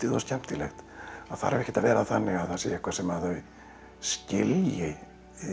og skemmtilegt það þarf ekkert að vera þannig að það sé eitthvað sem þau skilji